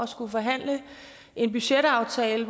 skullet forhandle en budgetaftale